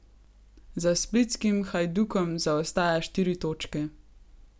Za splitskim Hajdukom zaostaja štiri točke.